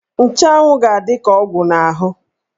Nchanwụ ga-adị ka ọgwụ n'ahụ.